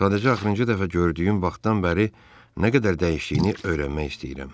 Sadəcə axırıncı dəfə gördüyüm vaxtdan bəri nə qədər dəyişdiyini öyrənmək istəyirəm.